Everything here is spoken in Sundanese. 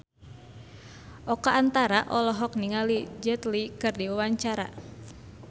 Oka Antara olohok ningali Jet Li keur diwawancara